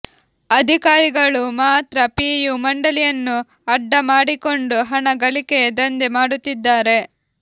ಅಧಿಕಾರಿಗಳು ಮಾತ್ರ ಪಿಯು ಮಂಡಳಿಯನ್ನು ಅಡ್ಡಾ ಮಾಡಿಕೊಂಡು ಹಣ ಗಳಿಕೆಯ ದಂಧೆ ಮಾಡುತ್ತಿದ್ದಾರೆ